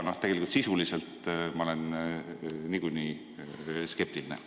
Tegelikult sisuliselt ma olen niikuinii skeptiline.